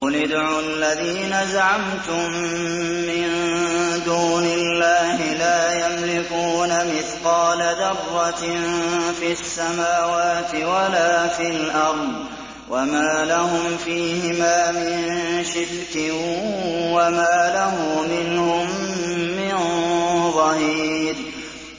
قُلِ ادْعُوا الَّذِينَ زَعَمْتُم مِّن دُونِ اللَّهِ ۖ لَا يَمْلِكُونَ مِثْقَالَ ذَرَّةٍ فِي السَّمَاوَاتِ وَلَا فِي الْأَرْضِ وَمَا لَهُمْ فِيهِمَا مِن شِرْكٍ وَمَا لَهُ مِنْهُم مِّن ظَهِيرٍ